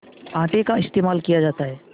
आटे का इस्तेमाल किया जाता है